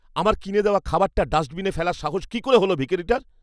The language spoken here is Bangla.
আমার কিনে দেওয়া খাবারটা ডাস্টবিনে ফেলার সাহস কী করে হল ভিখিরিটার?